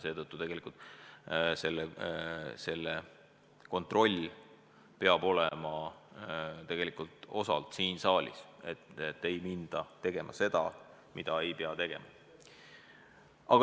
Ja kontroll selle üle peab osaliselt olema selle saali käes, siin tuleb jälgida, et ei minda tegema seda, mida ei tohiks teha.